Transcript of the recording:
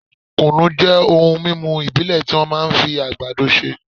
kùnú jẹ́ ohun mímú ìbílẹ̀ tí wọ́n máa ń fi àgbàdo ṣe